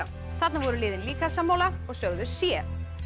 þarna voru liðin líka sammála og sögðu c